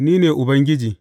Ni ne Ubangiji.